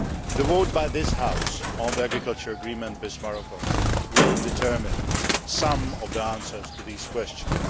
The vote by this House on the agricultural agreement with Morocco will determine some of the answers to these questions.